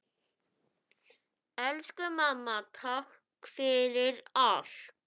Elsku mamma. takk fyrir allt.